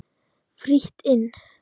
Frítt inn.